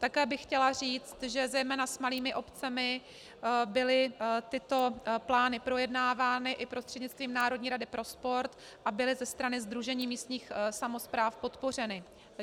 Také bych chtěla říct, že zejména s malými obcemi byly tyto plány projednávány i prostřednictvím Národní rady pro sport a byly ze strany Sdružení místních samospráv podpořeny.